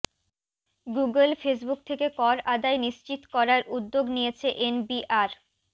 Google Facebook থেকে কর আদায় নিশ্চিত করার উদ্যোগ নিয়েছে এনবিআর